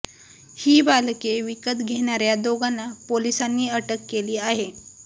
ही बालके विकत घेणाऱया दोघांना पोलिसांनी अटक केली आहे